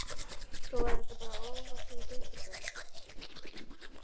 Svo verða þetta bara ofvaxin dekurbörn.